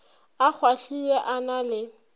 a kgwahlile a na le